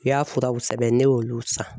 U y'a furaw sɛbɛn ne y'olu san.